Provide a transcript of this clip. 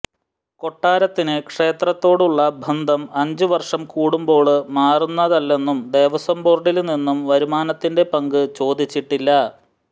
കൊട്ടാരത്തിന് ക്ഷേത്രത്തോടുള്ള ബന്ധം അഞ്ച് വര്ഷം കൂടുമ്പോള് മാറുന്നതല്ലെന്നും ദേവസ്വം ബോര്ഡില് നിന്നും വരുമാനത്തിന്റെ പങ്ക് ചോദിച്ചിട്ടില്ല